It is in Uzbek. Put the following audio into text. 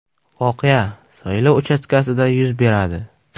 Voqea saylov uchastkasida yuz beradi.